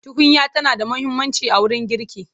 Tukunya tana da muhimmanci a wurin girki.